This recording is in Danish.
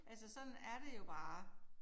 Altså sådan er det jo bare